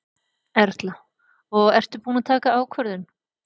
Erla: Og ertu búin að taka ákvörðun?